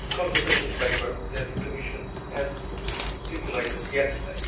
the consultation paper that the Commission circulated yesterday.